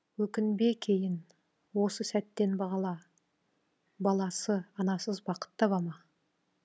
өкінбе кейін осы сәттен бағала баласы анасыз бақыт табама